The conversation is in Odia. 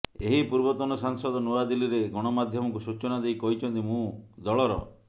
ଏହି ପୂର୍ବତନ ସାଂସଦ ନୂଆଦିଲ୍ଲୀରେ ଗଣମାଧ୍ୟମକୁ ସୂଚନା ଦେଇ କହିଛନ୍ତି ମୁଁ ଦଳର